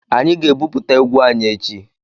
Anyị ga-ebuputa égwu anyị echi.